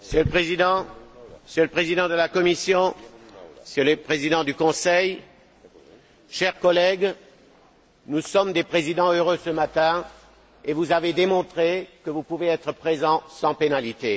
Monsieur le Président, Monsieur le Président de la Commission, Messieurs les Présidents du Conseil, chers collègues, nous sommes des présidents heureux ce matin et vous avez démontré que vous pouvez être présents sans pénalité.